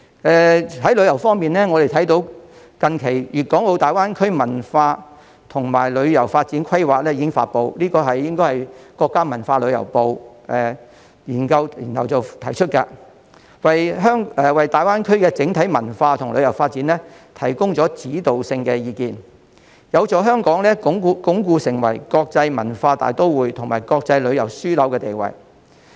在旅遊方面，我們看到最近《粵港澳大灣區文化和旅遊發展規劃》已經發布，應該是國家文化和旅遊部研究後提出的，為大灣區的整體文化和旅遊發展提供指導性意見，有助香港鞏固成為國際文化大都會和國際旅遊樞紐的地位。